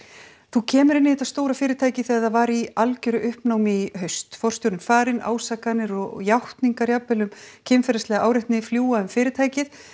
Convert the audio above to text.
þú kemur inn í þetta stóra fyrirtæki þegar það var í algjöru uppnámi í haust forstjórinn farinn ásakanir og játningar jafnvel um kynferðislega áreitni fljúga um fyrirtækið